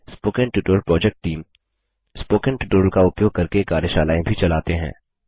spoken tutorial project team spoken tutorial का उपयोग करके कार्यशालाएँ भी चलाते हैं